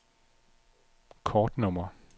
kortnummer